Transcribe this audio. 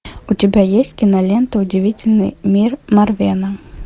у тебя есть кинолента удивительный мир марвена